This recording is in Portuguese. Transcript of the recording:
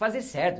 fazer certo.